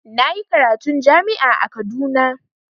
Na yi karatun jami'a a Kaduna.